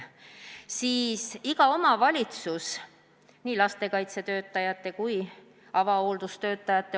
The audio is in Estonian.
Iga omavalitsus vaatab ise, kui palju on vallas või linnas vaja lastekaitsetöötajaid ja avahoolduse töötajaid.